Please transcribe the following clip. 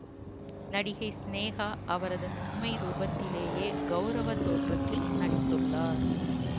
நடிகை சினேகா அவரது உண்மை ரூபத்திலேயே கவுரவ தோற்றத்தில் நடித்துள்ளார்